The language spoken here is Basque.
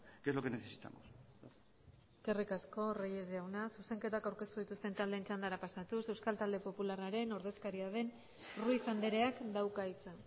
que es lo que necesitamos eskerrik asko reyes jauna zuzenketak aurkeztu dituzten taldeen txandara pasatuz euskal talde popularraren ordezkaria den ruiz andreak dauka hitza